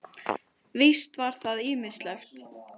Víst var það ýmislegt.